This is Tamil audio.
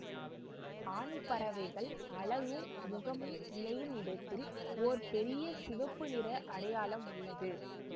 ஆண் பறவைகள் அலகும் முகமும் இணையும் இடத்தில் ஓர் பெரிய சிவப்பு நிற அடையாளம் உள்ளது